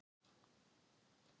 Hann er svo góður vinur yðar.